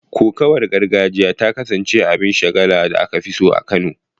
Kokawar gargajiya ta kasance abin shagala da aka fi so a Kano